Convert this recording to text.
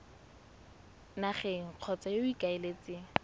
nageng kgotsa yo o ikaeletseng